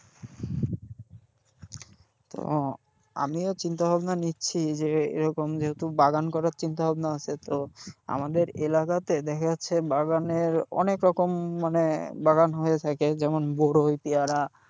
ও আমিও চিন্তাভাবনা নিচ্ছি যে এরকম যেহেতু বাগান করার চিন্তাভাবনা আছে, তো আমাদের এলাকাতে দেখা যাচ্ছে বাগানের অনেকরকম মানে বাগান হয়ে থাকে যেমন বড়ুই পিয়ারা,